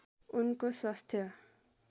उनको स्वास्थ्य